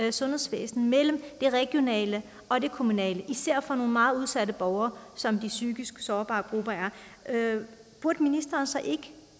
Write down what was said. i sundhedsvæsenet mellem det regionale og det kommunale især for nogle meget udsatte borgere som de psykisk sårbare grupper er burde ministeren så ikke